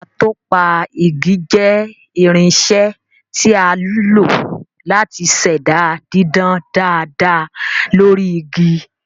Atọpa igi jẹ́ irinṣẹ́ tí a lò láti ṣẹ̀dá dídán dáadáa lórí igi